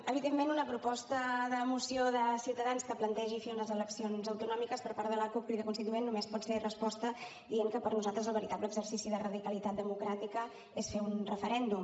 evidentment una proposta de moció de ciutadans que plantegi fer unes eleccions autonòmiques per part de la cup crida constituent només pot ser resposta dient que per nosaltres el veritable exercici de radicalitat democràtica és fer un referèndum